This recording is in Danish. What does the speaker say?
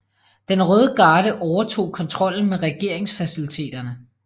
Den Røde Garde overtog kontrollen med regeringsfaciliteterne